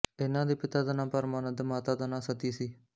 ਇਨ੍ਹਾਂ ਦੇ ਪਿਤਾ ਦਾਂ ਨਾਂ ਪਰਮਾਨੰਦ ਮਾਤਾ ਦਾ ਨਾਂ ਸਤੀ ਸੀ